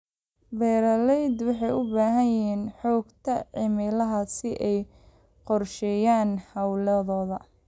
Beeraleydu waxay u baahan yihiin xogta cimilada si ay u qorsheeyaan hawlahooda.